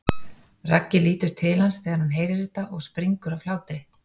Raggi lítur til hans þegar hann heyrir þetta og springur af hlátri.